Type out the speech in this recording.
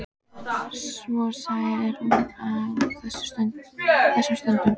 Svo sæl er hún á þessum stundum.